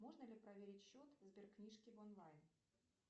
можно ли проверить счет сберкнижки в онлайн